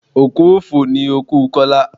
Òkú ọ̀fọ̀ ni òkú Kola